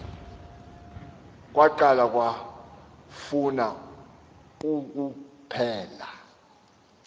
kwaqala kwafuna ukuphela